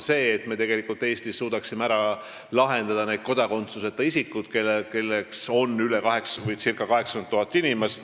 Me peame Eestis suutma pakkuda lahendust nendele kodakondsuseta isikutele, keda on ca 80 000.